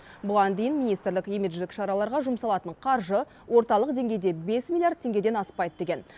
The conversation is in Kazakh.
бұған дейін министрлік имидждік шараларға жұмсалатын қаржы орталық деңгейде бес миллиард теңгеден аспайды деген